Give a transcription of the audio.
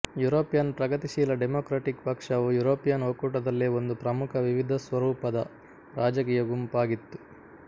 European ಪ್ರಗತಿಶೀಲ democratic ಪಕ್ಷವು European ಒಕ್ಕೂಟದಲ್ಲೇ ಒಂದು ಪ್ರಮುಖ ವಿವಿಧಸ್ವರೂಪದ ರಾಜಕೀಯ ಗುಂಪಾಗಿತ್ತು